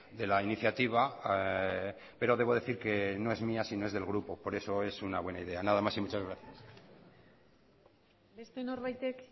de la iniciativa pero debo decir que no es mía sino es del grupo por eso es una buena idea nada más y muchas gracias beste norbaitek